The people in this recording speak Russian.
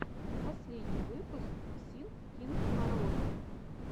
последний выпуск синг кинг караоке